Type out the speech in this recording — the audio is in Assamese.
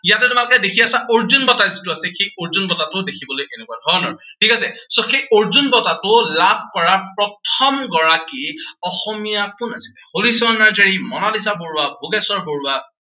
ইয়াতে তোমালোকে দেখি আছা, অৰ্জুন বঁটা যিটো আছে, সেই অৰ্জুন বঁটাটো দেখিবলৈ এনেকুৱা ধৰণৰ। ঠিক আছে, so সেই অৰ্জুন বঁটাটো লাভ কৰা প্ৰথমগৰাকী অসমীয়া কোন আছিলে? হলিচৰণ নাৰ্জাৰী, মনালিছা বৰুৱা, ভোগেশ্বৰ বৰুৱা,